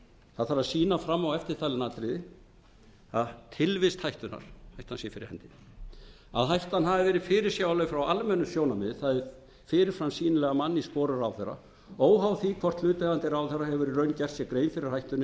það þarf að sýna fram á eftirtalin atriði a tilvist hættunnar að hættan sé fyrir hendi b að hættan hafi verið fyrirsjáanleg frá almennu sjónarmiði það er fyrir fram sýnileg af manni í sporum ráðherra óháð því hvort hlutaðeigandi ráðherra hefur í raun gert